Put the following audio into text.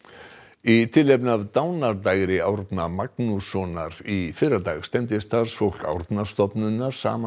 í tilefni af dánardægri Árna Magnússonar í fyrradag stefndi starfsfólk Árnastofnunar saman